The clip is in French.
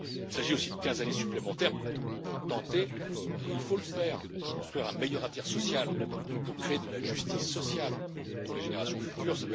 Il s'agit aussi de quinze années supplémentaires pour tenter et il faut le faire de construire un meilleur avenir social et de créer de la justice sociale pour les générations futures.